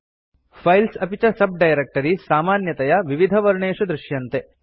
files अपि च sub directories सामान्यतया विविधवर्णेषु दर्श्यन्ते